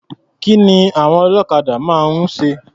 Kí ni àwon ọlọ́kadà máa ń ṣe?